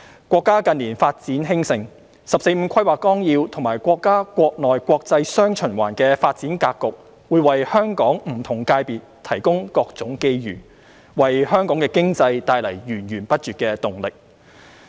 國家近年發展興盛，《十四五規劃綱要》及國家國內國際"雙循環"的發展格局會為香港不同界別提供各種機遇，為香港經濟帶來源源不絕的動力。